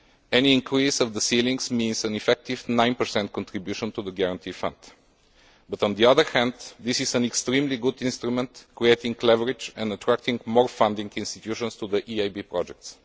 Any increase in the ceilings means effectively a 9 contribution to the Guarantee Fund, but on the other hand this is an extremely good instrument creating leverage and attracting more funding institutions to the EIB projects.